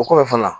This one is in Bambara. O kɔfɛ fana